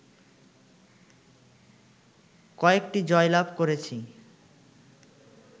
কয়েকটি জয়লাভ করেছি